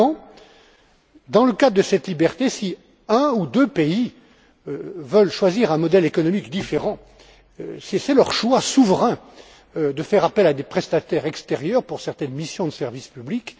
Simplement, dans le cadre de cette liberté, si un ou deux pays veulent choisir un modèle économique différent, il relève de leur choix souverain de faire appel à des prestataires extérieurs pour certaines missions de service public.